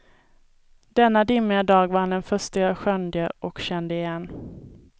Denna dimmiga dag var han den förste jag skönjde och kände igen.